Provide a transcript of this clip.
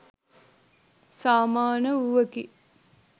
සමාන වූවකි.